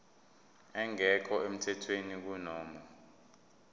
engekho emthethweni kunoma